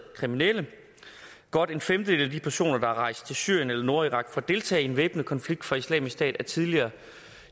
kriminelle godt en femtedel af de personer der er rejst til syrien eller nordirak for at deltage i den væbnede konflikt for islamisk stat er tidligere